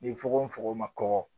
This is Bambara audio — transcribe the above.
Ni fugofugo ma kɔkɔ